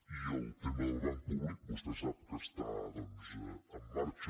i el tema del banc públic vostè sap que està doncs en marxa